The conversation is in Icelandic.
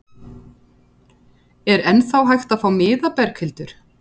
Er ennþá hægt að fá miða, Berghildur?